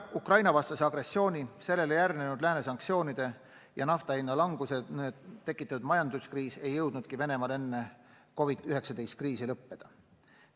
Ukraina-vastase agressiooni, sellele järgnenud Lääne sanktsioonide ja nafta hinna languse tekitatud majanduskriis ei jõudnudki Venemaal enne COVID-19 kriisi lõppeda.